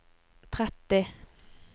tretti